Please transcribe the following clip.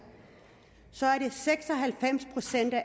er seks og halvfems procent af